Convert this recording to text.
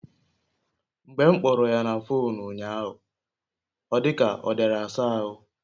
Mgbe m kpọrọ ya na fuunu unyahu ọ dika ọ diara asa ahụ